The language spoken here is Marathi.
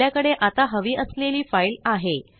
आपल्याकडे आता हवी असलेली फाइल आहे